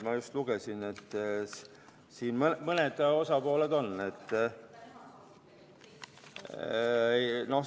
Ma just lugesin ette mõned osalised.